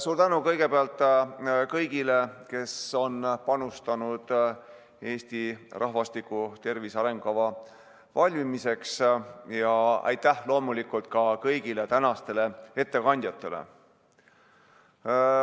Suur tänu kõigepealt kõigile, kes on panustanud Eesti rahvastiku tervise arengukava valmimisse, ja aitäh loomulikult ka kõigile tänastele ettekandjatele!